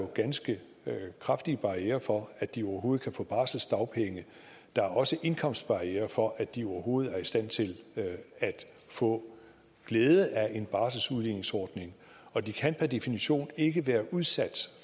ganske kraftige barrierer for at de overhovedet kan få barselsdagpenge der er også indkomstbarrierer for at de overhovedet er i stand til at få glæde af en barselsudligningsordning og de kan per definition ikke være udsat